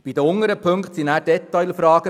Bei den unteren Punkten geht es um Detailfragen.